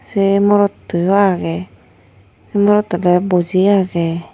Sei morotto yo agey se morroto te boji agey.